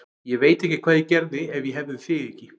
Ég veit ekki hvað ég gerði ef ég hefði þig ekki.